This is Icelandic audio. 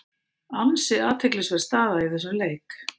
Ansi athyglisverð staða í þessum leik.